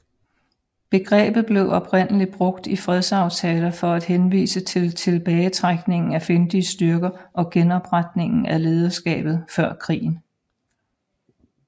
Begrebet blev oprindeligt brugt i fredsaftaler for at henvise til tilbagetrækningen af fjendtlige styrker og genopretningen af lederskabet før krigen